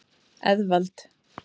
Eðvald